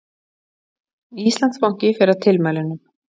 Íslandsbanki fer að tilmælunum